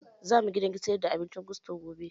Za mu gidan sayar da abincin gusto gobe